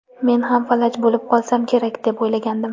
Men ham falaj bo‘lib qolsam kerak deb o‘ylagandim.